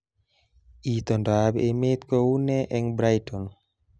Itondoab emet kounee eng Brighton